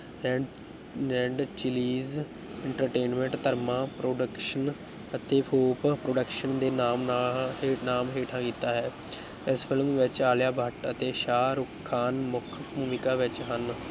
ਰੈ Red Chillies entertainment Dharma production ਅਤੇ Hope production ਦੇ ਨਾਮ ਨਾ ਹੇ ਨਾਮ ਹੇਠਾਂ ਕੀਤਾ ਹੈ ਇਸ film ਵਿੱਚ ਆਲਿਆ ਭੱਟ ਅਤੇ ਸ਼ਾਹ ਰੁਖ ਖ਼ਾਨ ਮੁੱਖ ਭੂਮਿਕਾ ਵਿੱਚ ਹਨ।